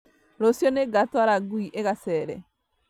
Rũciũ nĩngatwara ngui ĩgacere